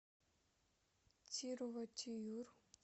тирувоттиюр